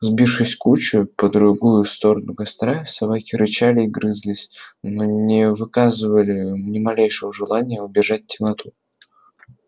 сбившись в кучу по другую сторону костра собаки рычали и грызлись но не выказывали ни малейшего желания убежать темноту